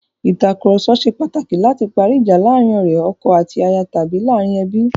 Ìtàkurọ̀sọ ṣe pàtàkì láti parí ìjà láàrin ọ̀rẹ́, ọkọ àti aya tàbí láàrin ẹbí.